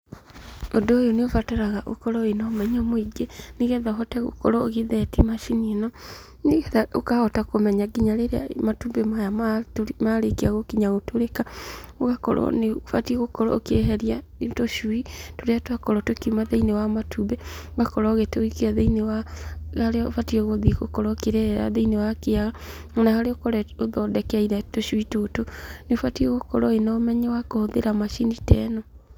Ũndũ ũyũ nĩ ubataraga ũkorwo na ũmenyo mũingĩ , nĩgetha ũkorwo ũkĩtheti macini ĩno, nĩgetha ũkahota kũmenya nginya rĩrĩa matumbĩ maya matũ marĩkia gũ kinya gũtũrĩka , ũgakorwo nĩ ũbatie ũkĩ eheria tũcui turĩa twakorwo tũkuima thĩiniĩ wa matumbĩ, tũgakorwo ũgĩtuikia thĩiniĩ wa harĩa tũrĩa ũbatiĩ gũthiĩ gũkorwo ũkĩrerera thĩiniĩ wa kiaga, ona harĩa ũthondekeire tũcui tũtũ nĩ ũbatiĩ gũkorwo na ũmenyo wa kũhũthĩra macini ta ĩno.